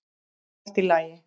Þá er allt í lagi.